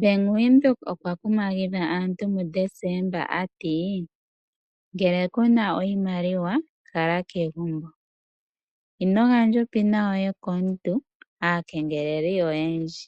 Bank Windhoek okwa kumagidha aantu muDesemba ta ti:"Ngele okuna oshimaliwa kala kegumbo. Ino gandja onomola yombaanga komuntu, aakengeleli oyendji.